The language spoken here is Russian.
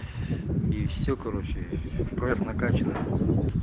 и все короче пресс накаченный